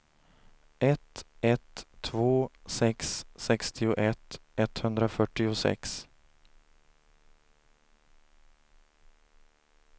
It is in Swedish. ett ett två sex sextioett etthundrafyrtiosex